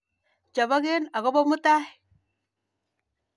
Chopokei akopo mutai.